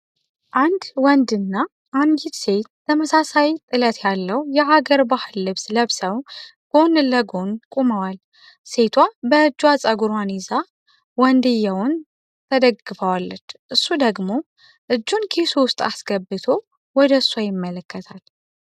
አንድ ወንድ እና አንዲት ሴት ተመሳሳይ ጥለት ያለው የሃገር ባህል ልብስ ለብሰው ጎን ለጎን ቆመዋል። ሴቷ በእጇ ጽጉሯን ይዛ ወንድየውን ተደግፋዋለች እሱ ደግሞ እጁን ኪሱ ዉስጥ አስገብቶ ወደሷ ይመለከታል።